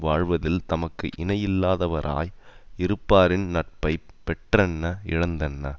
வாழ்வதில் தமக்கு இணை இல்லாதவராய் இருப்பாரின் நட்பை பெற்றென்ன இழந்தென்ன